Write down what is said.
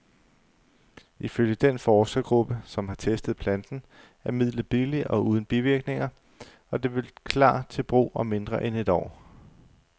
Ifølge den forskergruppe, som har testet planten, er midlet billigt og uden bivirkninger, og det vil klar til brug om mindre end et år.